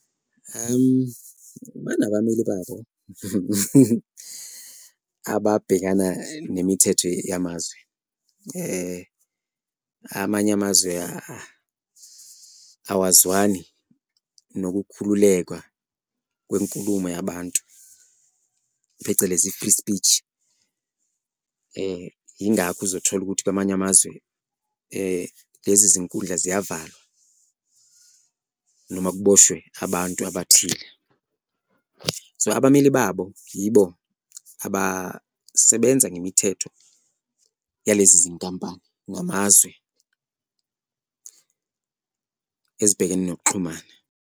Banabameli babo ababhekana nemithetho yamazwe amanye amazwe awazwani nokukhululekwa kwenkulumo yabantu, phecelezi i-free speech, ingakho uzothola ukuthi kwamanye amazwe lezi zinkundla ziyavalwa noma kuboshwe abantu abathile. So, abameli babo yibo abasebenza ngemithetho yalezi zinkampani ngamazwe ezibhekene nokuxhumana.